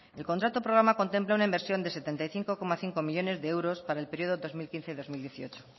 el contrato programa contempla una inversión de setenta y cinco coma cinco millónes de euros para el periodo dos mil quince dos mil dieciocho